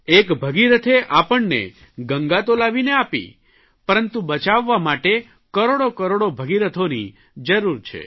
એક ભગીરથે આપણે ગંગા તો લાવીને આપી પરંતુ બચાવવા માટે કરોડો કરોડો ભગીરથોની જરૂર છે